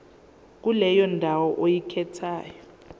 kuleyo ndawo oyikhethayo